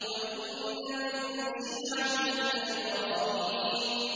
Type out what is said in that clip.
۞ وَإِنَّ مِن شِيعَتِهِ لَإِبْرَاهِيمَ